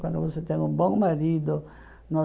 Quando você tem um bom marido,